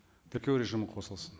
тіркеу режимі қосылсын